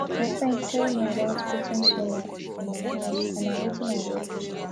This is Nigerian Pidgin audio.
my friend tell me about putting solar for my house and na wetin i go do